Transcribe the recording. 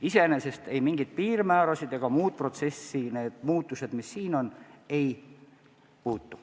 Iseenesest mingisuguseid piirmäärasid ega muid protsesse need muutused, mis siin on, ei puuduta.